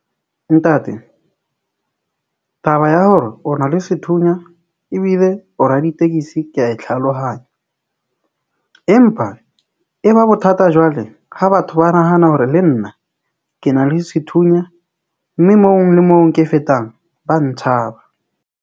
Ntate taba ya hore o na le sethunya ebile o raditekesi ke a e tlhalohanya, empa e ba bothata jwale ha batho ba nahana hore le nna ke na le sethunya mme moo le moo ke fetang ba ntshaba.